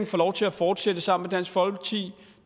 får lov til at fortsætte sammen med dansk folkeparti